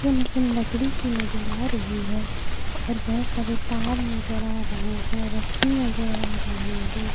यह मशीन लकड़ी की नजर आ रही है और बहोत सारे तार नजर आ रहे हैं रस्सी नजर आ रहे हैं।